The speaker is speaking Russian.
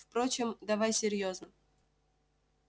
впрочем давай серьёзно